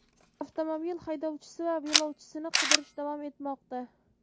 Avtomobil haydovchisi va yo‘lovchisini qidirish davom etmoqda.